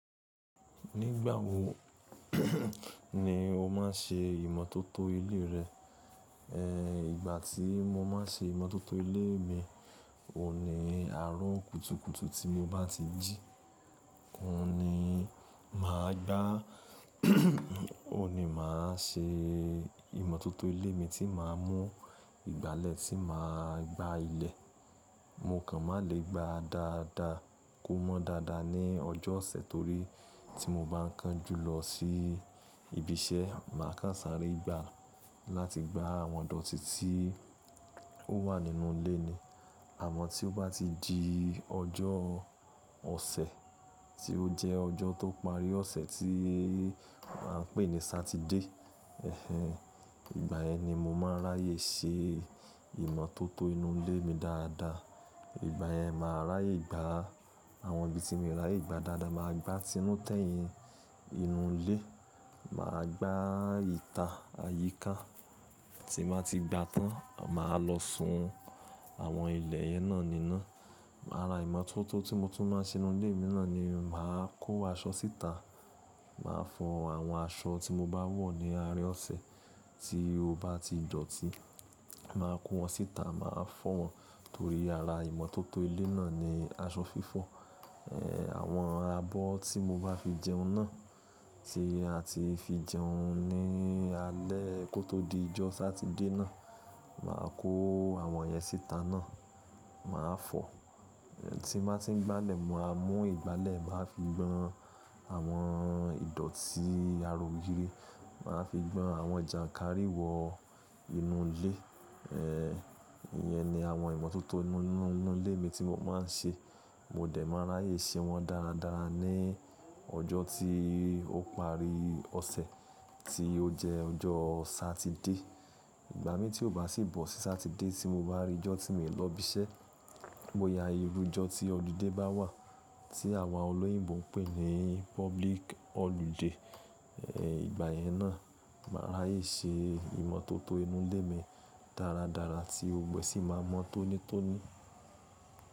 Nígbà wo ni o máa ń ṣe ìmọ́tótó ilé rẹ? Ẹ̀hn! Ìgbà tí mo máa ń ṣe ìmọ́tótó ilé mi, òní àárọ̀ kùtùkùtù tí mo bá ti jí, òhuní ni mà á gbá, òní mà á ṣe ìmọ́tótó ilé mi tí mà á mú ìgbálẹ̀ tí mà á gbá ilẹ̀. Mo kàn má lè gbá a dáadáa, kó mọ́ dáadáa ní ọjọ́ ọ̀sẹ̀ torí tí mo bá ń kan jú lọ sí ibi iṣẹ́, mà á kánsàárí gbá láti gbá àwọn dọ̀tí tí ó wà nínú ilé ni. Àmọ́ tí ó bá ti di ọjọ́ ọ̀sẹ̀ tí ó jẹ́ ọjọ́ tó parí ọ̀sẹ̀ tí a ń pè ní Saturday, ẹ̀hen, ìgbà yẹn ni mo máa ráyè ṣe ìmọ́tótó inú ilé mi dáadáa. Ìgbà yẹn mà á ráyè gbá àwọn ibi tí mo ráyè gbá dáadáa, mà á gbá inú tẹ́yìn inú ilé, mà á gbá ìta àyíká. Tí nbà ti gbá tán, mà á lọ sun àwọn ilẹ̀ yẹn náà níná. Àrà ìmọ́tótó tí mo tún máa ń ṣe inú ilé mi náà ni mà á kó aṣọ síta, mà á fọ àwọn aṣọ tí mo bá wọ̀ ní arin ọ̀sẹ̀ tí ó bá ti dọ̀tí. Mà á kó wọn síta, mà á fọ̀ wọ́n torí ara ìmọ́tótó ilé náà ni aṣọ fífọ̀. Ẹ̀, àwọn abọ́ tí mo bá fi jẹun náà tí a ti fi jẹun ní alẹ́ kó tó di ọjọ́ Saturday náà, mà á kó àwọn yẹn síta náà, mà á fọ̀. Tí nbà ti ń gbálẹ̀, mo máa mú ìgbálẹ̀ máa fi gbọn àwọn ìdọ̀tí ara ògiri, mà á fi gbọn àwọn jànkárìwọ inú ilé. Ẹ̀, ìyẹn ni àwọn ìmọ́tótó inú, inú ilé mi tí mo máa ń ṣe. Mo dẹ̀ máa ráyè ṣe wọ́n dáradára ní ọjọ́ tí ó pari ọ̀sẹ̀ tí ó jẹ́ ọjọ́ Saturday. Ìgbà mí tí ó bá sì bọ̀ sí Saturday tí mo bá rí ọjọ́ tí mí lọ ibi iṣẹ́, bó ya irú ọjọ́ tí ọlidé bá wà tí àwọn olóyìnbo ń pè ní public holiday, ẹ̀, ìgbà yẹn náà mà á ráyè ṣe ìmọ́tótó inú ilé mi dáradára tí gbogbo ẹ́ sì máa mọ́ tónítóní.